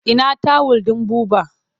Ina tawul ɗin Buba?